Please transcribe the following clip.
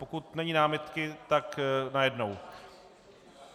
Pokud není námitky, tak najednou.